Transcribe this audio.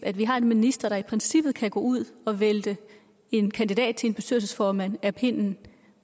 at vi har en minister der i princippet kan gå ud og vælte en kandidat til posten som bestyrelsesformand af pinden